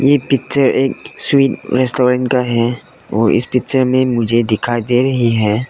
ये पिक्चर एक sweet restaurant का है और इस पिक्चर में मुझे दिखाई दे रही है।